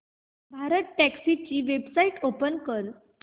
भारतटॅक्सी ची website open कर